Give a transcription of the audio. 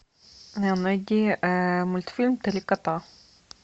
найди мультфильм три кота